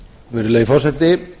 virðulegi forseti